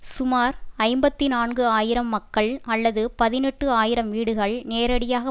சுமார் ஐம்பத்தி நான்கு ஆயிரம் மக்கள் அல்லது பதினெட்டு ஆயிரம் வீடுகள் நேரடியாக